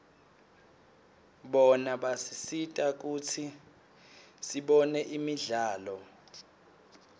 bona basisita kutsi sibone imidlalo